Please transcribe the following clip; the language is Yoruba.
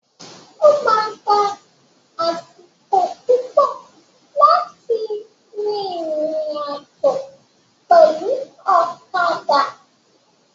O ma gbà àsìkò púpọ láti rìnrìn àjò pẹlu ọ̀kadà.